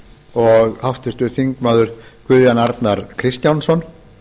og háttvirtir þingmenn guðjón arnar kristjánsson